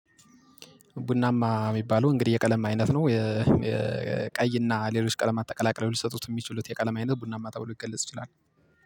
ቡናማ ሚባለው እንግዲህ የቀለም አይነት ነው የቀይና ሌሎች ቀለማት ተቀላቅለው ሊሰጡት የሚችሉት የቀለም አይነት ቡናማ ተበሎ ሊገለጽ ይችላል